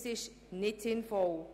Das ist nicht sinnvoll.